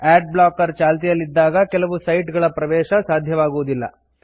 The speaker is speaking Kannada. ಆಡ್ ಬ್ಲಾಕರ್ ಚಾಲ್ತಿಯಲ್ಲಿದ್ದಾಗ ಕೆಲವು ಸೈಟ್ ಗಳ ಪ್ರವೇಶ ಸಾಧ್ಯವಾಗುವುದಿಲ್ಲ